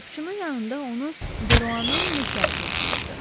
Qapıçının yanında onu Deruanın nökəri gözləyirdi.